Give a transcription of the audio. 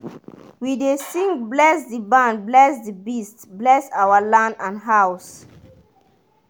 we dey sing "bless the barn bless the beast bless our land and house".